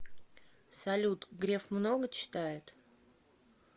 салют греф много читает